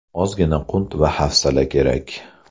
Ozgina qunt va hafsala kerak.